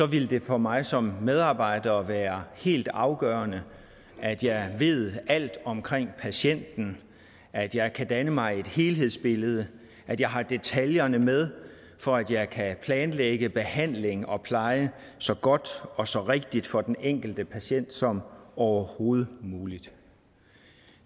ville det for mig som medarbejder være helt afgørende at jeg ved alt omkring patienten at jeg kan danne mig et helhedsbillede at jeg har detaljerne med for at jeg kan planlægge behandling og pleje så godt og så rigtigt for den enkelte patient som overhovedet muligt